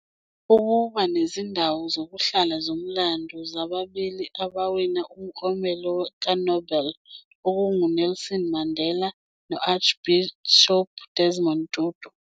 ukuba nezindawo zokuhlala zomlando zababili abawina uMklomelo kaNobel, okunguNelson Mandela no- Archbishop Desmond Tutu.